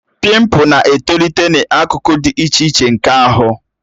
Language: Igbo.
Pimpu na-etolite n'akụkụ dị iche iche nke ahụ